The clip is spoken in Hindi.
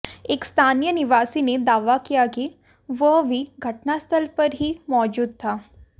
एक स्थानीय निवासी ने दावा किया कि वह भी घटनास्थल पर ही मौजूद था